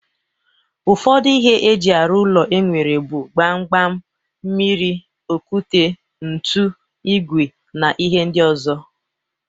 Ụfọdụ ihe eji arụ ụlọ enwere bụ Gbam gbam, mmiri, okwute, ntu, ìgwè na ihe ndị ọzọ